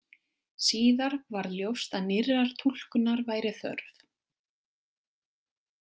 Síðar varð ljóst að nýrrar túlkunar væri þörf.